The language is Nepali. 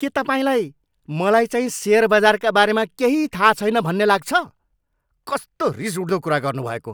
के तपाईँलाई मलाईचाहिँ सेयर बजारका बारेमा केही थाहा छैन भन्ने लाग्छ? कस्तो रिसउठ्दो कुरा गर्नुभएको!